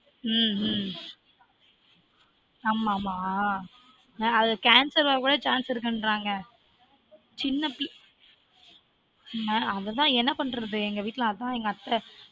உம் உம் ஆமா ஆமா ஆன் ஆ cancer வரவே chance இருக்குன்றாங்க சின்ன பிள்ள அததான் என்னபன்றது எங்க வீட்டுலஅத்த